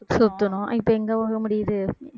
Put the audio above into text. சுத்தினோம் இப்ப எங்க போக முடியுது